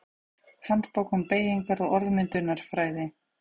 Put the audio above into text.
Handbók um beygingar- og orðmyndunarfræði.